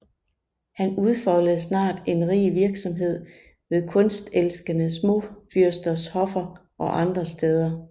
Han udfoldede snart en rig virksomhed ved kunstelskende småfyrsters hoffer og andre steder